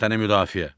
Vətəni müdafiə.